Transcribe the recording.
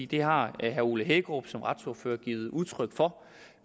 det har herre ole hækkerup som retsordfører givet udtryk for